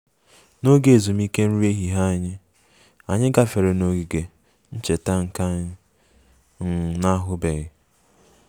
N'oge ezumike nri ehihie anyị, anyị gafere n'ogige ncheta nke anyị um na-ahụbeghị